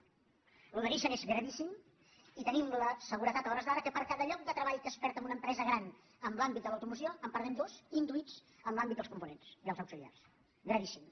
això de nissan és gravíssim i tenim la seguretat a hores d’ara que per cada lloc de treball que es perd en una empresa gran en l’àmbit de l’automoció en perdem dos induïts en l’àmbit dels components dels auxiliars gravíssim